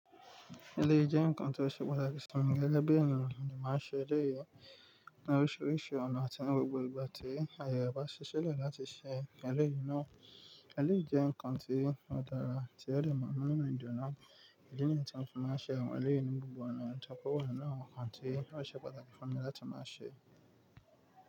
Eléyìí jẹ́ nǹkan tí ó ṣe pàtàkì fun mi gege bi ènìyàn mo de màá ṣe eléyìí ní oríṣiríṣi ọ̀nà àti ní gbogbo ìgbà tí àyè bá ṣi ṣilè láti ṣe ẹlẹ́yìí náà. Eléyìí jẹ́ nǹkan tí ó dára tí ẹlemọ̀ ń mú nínú ìjìyà náà. Èyí ni yii tí won màá ṣe àwọn eléyìí ní gbogbo ọ̀nà toí pe ọ̀nà nan tí yóò ṣe pàtàkì fún mi láti máa ṣe.